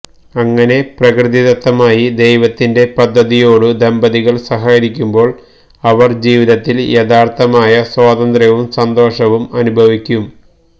അങ്ങനെ പ്രകൃതിദത്തമായി ദൈവത്തിന്റെ പദ്ധതിയോടു ദമ്പതികള് സഹകരിക്കുമ്പോള് അവര് ജീവിതത്തില് യഥാര്ത്ഥമായ സ്വാതന്ത്ര്യവും സന്തോഷവും അനുഭവിക്കും